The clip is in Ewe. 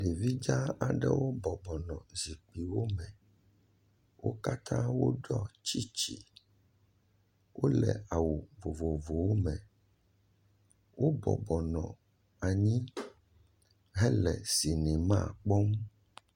Ɖevi dzaa aɖewo bɔbɔ nɔ zikpiwome. Wo katã woɖɔ tsiitsi. Wole awu vovovowome. Wo bɔbɔ nɔ anyi hele sinima kpɔm.